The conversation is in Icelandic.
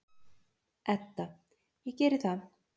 Edda: Ég geri það.